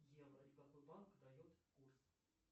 евро и какой банк дает курс